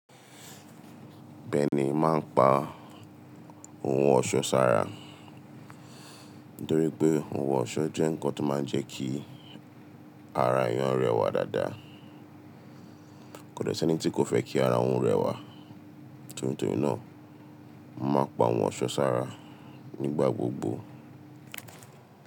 Bẹẹni, máa ń pa ohun ọ̀ṣọ́ sára torí pé ohun ọ̀ṣọ́ jẹ́ ǹkan tó máa ń jẹ kí ara èèyàn rẹwà dáadáa. Kò dẹ sí ẹni tí kò fẹ́ kí ara òun rẹwà. Torí náà, mo máa n pa ohun ọ̀ṣọ́ sára nígbà gbogbo.